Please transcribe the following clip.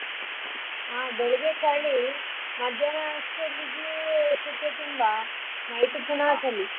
ಹಾ ಚಳಿ ಮಧ್ಯಾಹ್ನ ಅಷ್ಟುತ್ತಿಗೆ ಶೆಕೆ ತುಂಬಾ night ಚಳಿ.